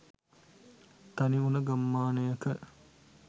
තනිවුන ගම්මානයක